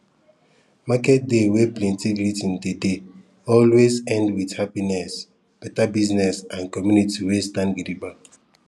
market day wey plenty greeting dey dey always end with happiness better business and community wey stand gidigba